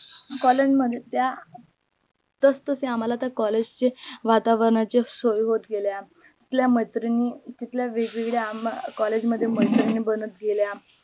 collage मध्ये त्या तस तसे आम्हाला collage चे वातावरणाचे सवई होत गेल्या आपल्या मैत्रिणी तिथल्या वेग वेगळ्या आम्हा collage मध्ये मैत्रिणी बनत गेल्या